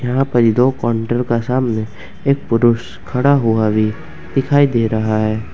यहां पर ही दो कॉन्टर का सामने एक पुरुष खड़ा हुआ भी दिखाई दे रहा है।